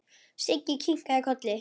Siggi kinkaði kolli.